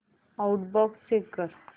outbox check कर